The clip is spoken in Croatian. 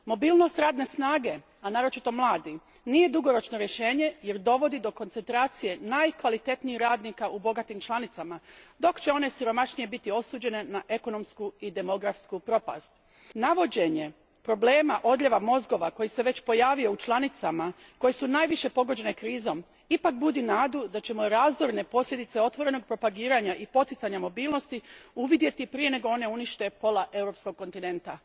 Mobilnost radne snage, a naročito mladih, nije dugoročno rješenje jer dovodi do koncentracije najkvalitetnijih radnika u bogatim članicama dok će one siromašnije biti osuđene na ekonomsku i demografsku propast. Navođenje problema odljeva mozgova, koji se već pojavio u članicama koje su najviše pogođene krizom, ipak budi nadu da ćemo razorne posljedice otvorenog propagiranja i poticanja mobilnost uvidjeti prije nego one unište pola europskog kontinenta.